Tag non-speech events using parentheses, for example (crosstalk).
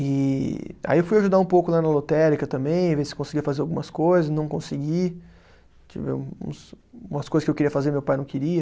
E aí eu fui ajudar um pouco lá na lotérica também, ver se conseguia fazer algumas coisas, não consegui, (unintelligible) umas coisas que eu queria fazer e meu pai não queria